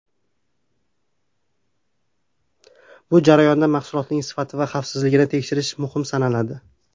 Bu jarayonda mahsulotlarning sifati va xavfsizligini tekshirish muhim sanaladi.